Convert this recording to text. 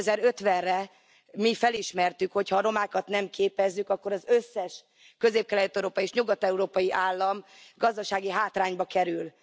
2050 re mi felismertük, hogy ha a romákat nem képezzük, akkor az összes közép kelet európai és nyugat európai állam gazdasági hátrányba kerül.